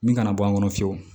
Min kana bɔ an kɔnɔ fiyewu